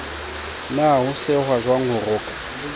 na ho sehwajwang ho rokwa